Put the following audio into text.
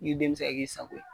I den mi se ka k'i sago ye.